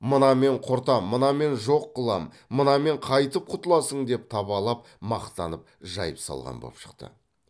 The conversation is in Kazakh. мынамен құртам мынамен жоқ қылам мынамен қайтіп құтыласың деп табалап мақтанып жайып салған боп шықты